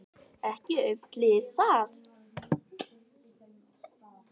Ekki aumt lið það.